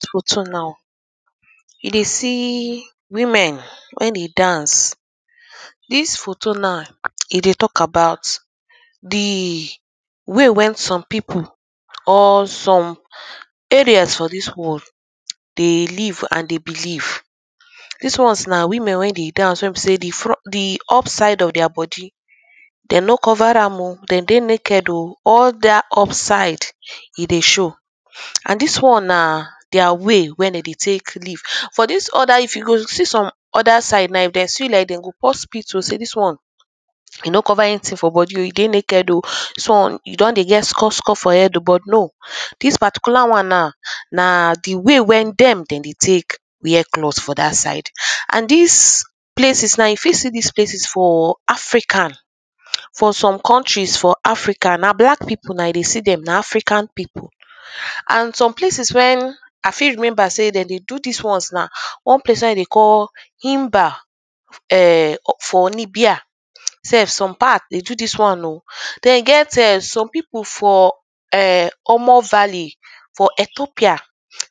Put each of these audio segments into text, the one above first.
Dis photo now you dey see women wey dey dance. Dis photo now, e dey talk about the way when some people or some parent for dis world dey live and dey believe. Dis ones na women wey de dance wey be sey the front, the upside for their body They no cover am oh. Dem dey naked oh. All dat upside e dey show. And dis one na their way when dem dey take live. For dis other if you go see some other side now, if de see you like dis, de go pour spit oh say dis one e no cover anything for body oh. E dey naked oh. So e don dey get skosko for head but no. Dis particular one now, na the way when dem de dey take wear cloth for dat side. And dis places now, you fit see dis places for africa. For some countries for africa, na black people na dem dey se dem na africa people. And some places when i fit remember sey dem dey do dis ones now. One place wey dem dey call inbar or ern for [2] beer. self. Some part e do dis one oh. Den get ern some people for erm omo vally for Ethopia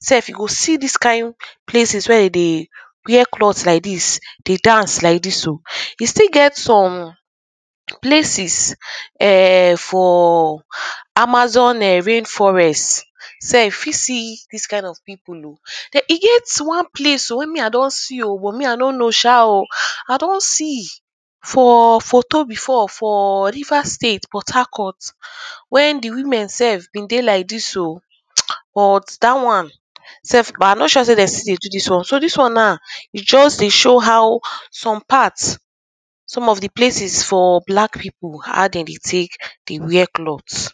self you go see dis kind places wey dem dey wear cloth like dis, they dance like dis oh. E still get some places erm for amazon ern rain forest. self. You fit see dis kind of people oh. Den e get one place oh wey me i don see oh but me i no know sha oh. I don see for photo before for River state Port harcourt. When women self been dey like dis oh. But dat one self but i no sure sey de still dey do dis one. So dis one now, e get to show how some part some of the places for black people, how dem dey take dey wear cloth.